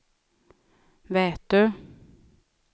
Vätö